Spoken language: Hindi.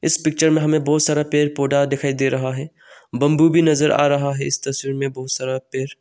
इस पिक्चर में हमें बहुत सारा पेड़ पौधा दिखाई दे रहा है बंबू की नजर आ रहा है इस तस्वीर में बहुत सारा।